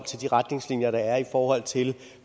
de retningslinjer der er i forhold til